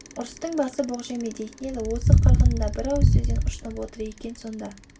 ұрыстың басы боқ жеме дейтін еді осы қырғын да бір ауыз сөзден ұшынып отыр екен сонда